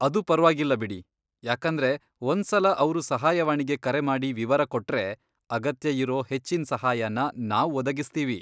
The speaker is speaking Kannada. ಅದು ಪರ್ವಾಗಿಲ್ಲ ಬಿಡಿ, ಯಾಕಂದ್ರೆ ಒಂದ್ಸಲ ಅವ್ರು ಸಹಾಯವಾಣಿಗೆ ಕರೆ ಮಾಡಿ ವಿವರ ಕೊಟ್ರೆ, ಅಗತ್ಯ ಇರೋ ಹೆಚ್ಚಿನ್ ಸಹಾಯನ ನಾವ್ ಒದಗಿಸ್ತೀವಿ.